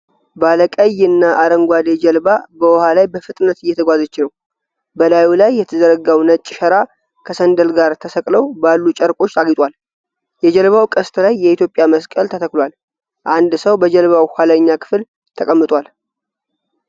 ባለ ቀይና አረንጓዴ ጀልባ በውሃ ላይ በፍጥነት እየተጓዘች ነው። በላዩ ላይ የተዘረጋው ነጭ ሸራ ከሰንደል ጋር ተሰቅለው ባሉ ጨርቆች አጊጧል። የጀልባው ቀስት ላይ የኢትዮጵያ መስቀል ተተክሏል። አንድ ሰው በጀልባው ኋለኛ ክፍል ተቀምጧል።